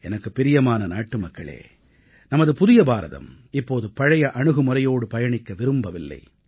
எனக்குப் பிரியமான நாட்டுமக்களே நமது புதிய பாரதம் இப்போது பழைய அணுகுமுறையோடு பயணிக்க விரும்பவில்லை